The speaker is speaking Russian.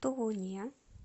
тулуне